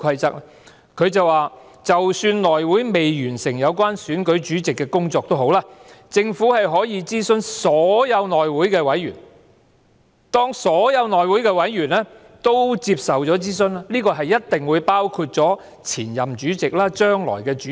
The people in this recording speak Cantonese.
他說："就算內委會未完成有關選舉主席的工作也好，政府可以諮詢所有內委會委員，當所有內委會委員均有受諮詢，這一定包括了前任主席或將來的主席。